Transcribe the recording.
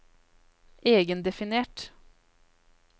egendefinert